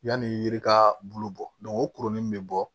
Yanni yiri ka bolo bɔ o kurunin bɛ bɔ